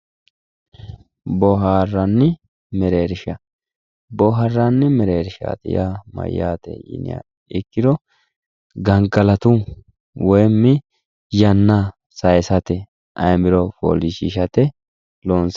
Booharanni mereersha, booharanni mereershati yaa mayate yinniha ikkiro gangalatu woyimi yanna saysate ayimiro foolishishate loonse.